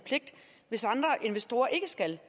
hvis andre investorer ikke skal